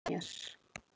Til að hlýja mér.